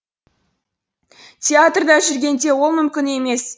театрда жүргенде ол мүмкін емес